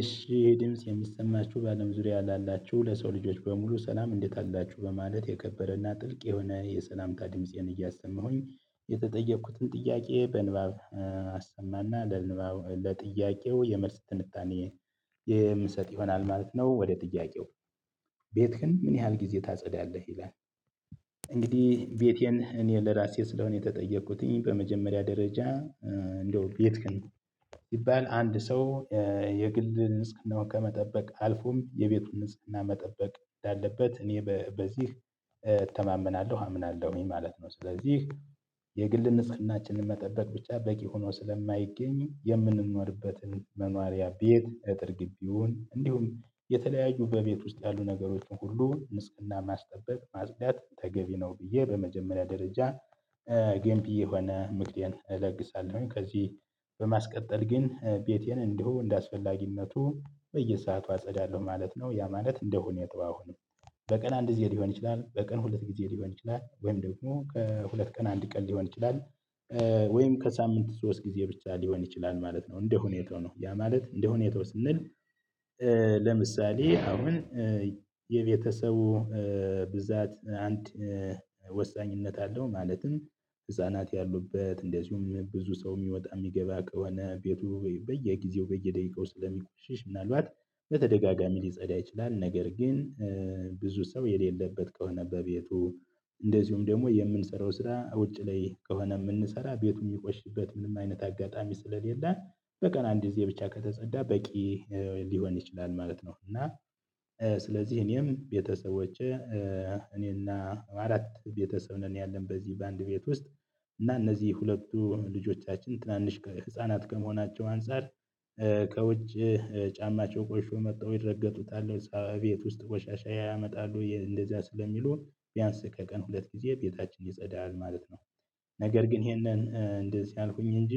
እሺ ድምጽ የሚሰማችሁ በአለም ዙሪያ ላላችሁ ለሰው ልጆች በሙሉ ሰላም እንዴት አላችሁ በማለት የከበረና ጥልቅ የሆነ የሰላም ድምፄን እያሰማሁኝ። የተጠየቅኩትን ጥያቄ በንባብ አሰማና ለጥያቄው የመልስ ትንታኔ የምሰጥ ይሆናል ማለት ነው። ወደ ጥያቄው ቤትክን ምን ያህል ጊዜ ታጸዳለህ ይላል? እንግዲህ ቤቴን እኔን ለራሴ ስለሆነ የተጠየቁትኝ በመጀመሪያ ደረጃ እንደው ቤትክን ይቢባል አንድ ሰው የግልድ ጽናው ከመጠበቅ አልፎም የቤቱን ጽህና መጠበቅ እንዳለበት እኔ በዚህ እተማመናለሁ አምናለሁኝ። ምን ማለት ነው ስለዚህ የግል ንጽህናችንን መጠበቅ ብቻ በቂ ሆኖ ስለማይገኝ የምንኖርበትን መኖሪያ ቤት እጥር ግቢውን እንዲሁም የተለያዩ በቤት ውስጥ ያሉ ነገሮችን ሁሉ ንጽህና ማስጠበቅ ማስጽዳት ተገቢ ነው ብዬ በመጀመሪያ ደረጃ። ጌምቢ የሆነ ምክሬኔ እለግሳለሁ ከዚህ በማስቀጠል ግን ቤቴን እንዲሁ እንደአስፈላጊነቱ በየሰአቱ አጸዳለሁ ማለት ነው። ያ ማለት እንደ ሁኔታው አሁንም በቀን አንድ ጊዜ ሊሆን ይችላል በቀን ሁለት ጊዜ ሊሆን ይችላል ወይም ደግሞ ከሁለት ቀን አንድ ቀን ሊሆን ይችላል። ወይም ከሳምንት ሶስት ጊዜ ብቻ ሊሆን ይችላል ማለት ነው እንደሁኔታው ነው ያ ማለት እንደሁኔታው ስንል። ለምሳሌ አሁን የቤተሰቡ ብዛት አንድ ወሳኝነት አለው። ማለትም ህፃናት ያሉበት እንደዚሁም ብዙ ሰው የሚወጣ የሚገባ ከሆነ ቤቱ በየጊዜው በየደቂቃው ስለሚቆሽሽ ምናልባት በተደጋጋሚ ሊጸዳ ይችላልም። ነገር ግን ብዙ ሰው የሌለበት ከሆነ በቤቱ እንደዚሁም ደግሞ የምንሰራው ስራ ውጪ ላይ ከሆነ የምንሰራ ቤቱ የሚቆሽበት ምንም አይነት አጋጣሚ ስለሌለ በቀን አንድ ጊዜ ብቻ ከተጸዳ በቂ ሊሆን ይችላል ማለት ነው። እና ስለዚህ እኔም ቤተሰቦቼ እኔ እና አራት ቤተሰብ ነን ያለን በዚህ በአንድ ቤት ውስጥ እና እነዚህ ሁለቱ ልጆቻችን ትናንሽ ህፃናት ከመሆናቸው አንፃር ከውጭ ጫማቸው ቆሽሾ መጥተው ይረገጡታል ቤት ውስጥ ቆሻሻ ያመጣሉ እንደዚያ ስለሚሉ ቢያንስ ከቀን ሁለት ጊዜ ቤታችን ይጸዳል ማለት ነው። ነገር ግን ይሄንን እንደዚህ አልኩኝ እንጂ